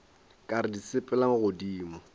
ka re di sepela godimo